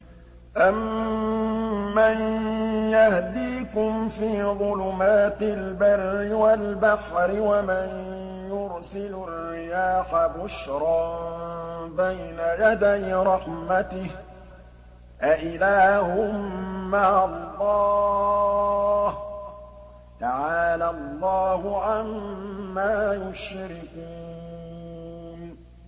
أَمَّن يَهْدِيكُمْ فِي ظُلُمَاتِ الْبَرِّ وَالْبَحْرِ وَمَن يُرْسِلُ الرِّيَاحَ بُشْرًا بَيْنَ يَدَيْ رَحْمَتِهِ ۗ أَإِلَٰهٌ مَّعَ اللَّهِ ۚ تَعَالَى اللَّهُ عَمَّا يُشْرِكُونَ